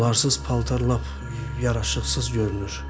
Onlarsız paltar lap yaraşıqsız görünür.